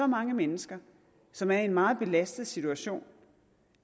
mange mennesker som er i en meget belastet situation og